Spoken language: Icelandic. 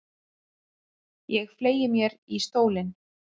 Ég fleygi mér í stólinn.